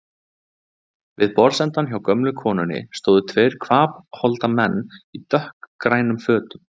Við borðsendann hjá gömlu konunni stóðu tveir hvapholda menn í dökkgrænum fötum.